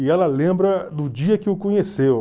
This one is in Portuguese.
E ela lembra do dia que o conheceu.